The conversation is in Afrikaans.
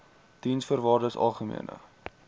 diensvoorwaardesalgemene